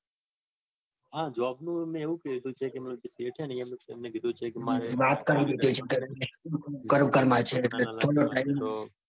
હા job નું એવું કીધું છે ને કે એમને કીધું છે કે મારે હેને લગનમાં જવાનું છે.